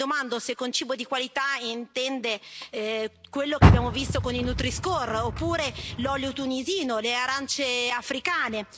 Io mi domando se con cibo di qualità intende quello che abbiamo visto con il nutriscore oppure l'olio tunisino, o le arance africane.